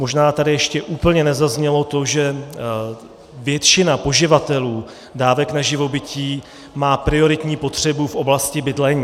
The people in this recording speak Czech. Možná tady ještě úplně nezaznělo to, že většina poživatelů dávek na živobytí má prioritní potřebu v oblasti bydlení.